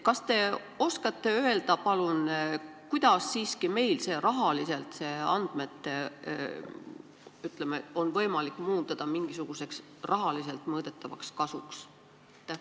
Kas te oskate öelda palun, kuidas meil siiski on see andmete valdamine võimalik muundada mingisuguseks rahaliselt mõõdetavaks kasuks?